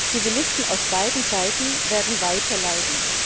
Zivilisten auf beiden Seiten werden weiter leiden.